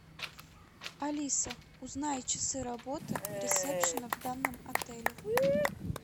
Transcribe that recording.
алиса узнай часы работы ресепшена в данном отеле